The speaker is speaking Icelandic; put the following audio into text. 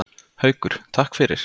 Haukur: Takk fyrir.